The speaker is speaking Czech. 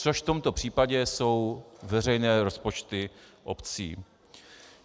Což v tomto případě jsou veřejné rozpočty obcí.